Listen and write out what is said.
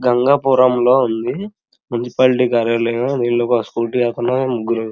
గంగాపురంలో ఉంది మున్సిపాలిటీ కార్యాలయ నీళ్లు పోసుకుంటూ ఎల్తున్నారు గురు --